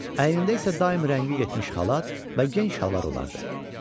Əynində isə daim rəngi getmiş xalat və gen şalvar olardı.